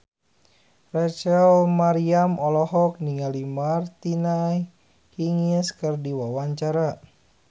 Rachel Maryam olohok ningali Martina Hingis keur diwawancara